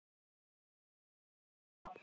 En það breytti engu.